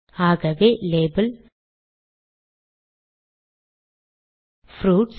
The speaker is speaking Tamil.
ஆகவே லேபல் ப்ரூட்ஸ்